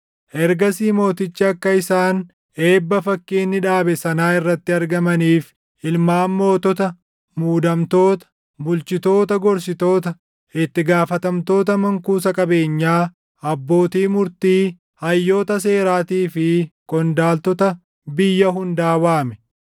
Ergasii mootichi akka isaan eebba fakkii inni dhaabe sanaa irratti argamaniif ilmaan mootota, muudamoota, bulchitoota gorsitoota, itti gaafatamtoota mankuusa qabeenyaa, abbootii murtii, hayyoota seeraatii fi qondaaltota biyya hundaa waame.